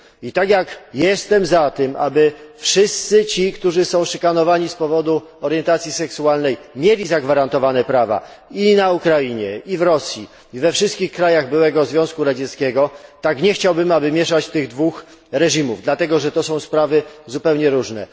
Tak jak jestem za tym, aby wszyscy ci, którzy są szykanowani z powodu orientacji seksualnej mieli zagwarantowane prawa i na Ukrainie, i w Rosji i we wszystkich krajach byłego Związku Radzieckiego, tak nie chciałbym, aby mieszać tych dwóch reżimów, dlatego, że to są sprawy zupełnie różne.